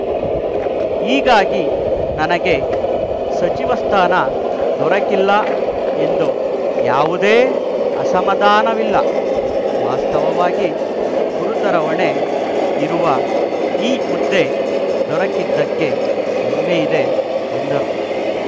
ಹೀಗಾಗಿ ನನಗೆ ಸಚಿವ ಸ್ಥಾನ ದೊರಕಿಲ್ಲ ಎಂದು ಯಾವುದೇ ಅಸಮಾಧಾನವಿಲ್ಲ ವಾಸ್ತವವಾಗಿ ಗುರುತರ ಹೊಣೆ ಇರುವ ಈ ಹುದ್ದೆ ದೊರಕಿದ್ದಕ್ಕೆ ಹೆಮ್ಮೆಯಿದೆ ಎಂದರು